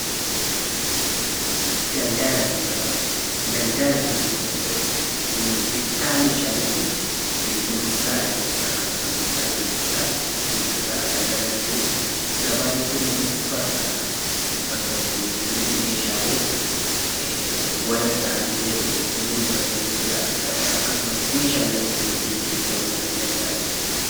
Daldala jechuun bittaa fi gurgurtaa meeshaalee jechuudha. Gabaa jechuun immoo bakka itti namni meeshaalee wal irraa bitee gurguratu jechuudha. Akkasumas illee meeshaalee itti wal jijjiiru ta'uu danda'a.